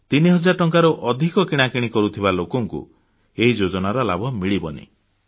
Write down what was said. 3000 ଟଙ୍କାରୁ ଅଧିକ କିଣାକିଣି କରୁଥିବା ଲୋକଙ୍କୁ ଏହି ଯୋଜନାର ଲାଭ ମିଳିବ ନାହିଁ